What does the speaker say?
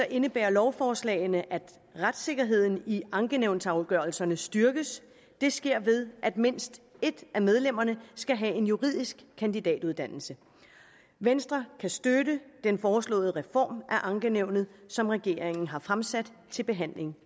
indebærer lovforslagene at retssikkerheden i ankenævnsafgørelserne styrkes det sker ved at mindst et af medlemmerne skal have en juridisk kandidatuddannelse venstre kan støtte den foreslåede reform af ankenævnet som regeringen har fremsat til behandling